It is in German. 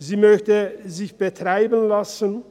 Sie möchte sich betreiben lassen.